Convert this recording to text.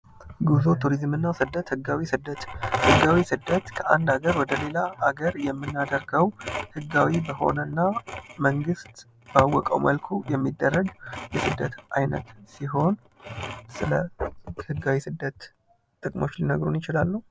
ጉዞ ፣ ቱሪዝምና ስደት ፦ ህጋዊ ስደት ፦ ህጋዊ ስደት ከአንድ ሀገር ወደ ሌላ ሀገር የምናደርገው ህጋዊ በሆነና መንግስት ባወቀው መልኩ የሚደረግ የስደት አይነት ሲሆን ስለ ህጋዊ ስደት ጥቅሞች ሊነግሩን ይችላሉ ?